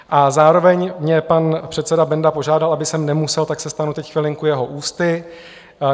A zároveň mě pan předseda Benda požádal, aby sem nemusel, tak se stanu teď chvilinku jeho ústy.